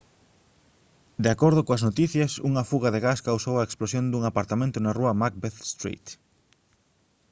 de acordo coas noticias unha fuga de gas causou a explosión dun apartamento na rúa macbeth street